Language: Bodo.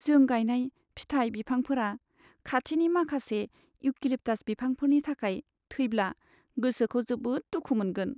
जों गायनाय फिथाइ बिफांफोरा खाथिनि माखासे इउकेलिप्टास बिफांफोरनि थाखाय थैब्ला गोसोखौ जोबोद दुखु मोनदोंमोन।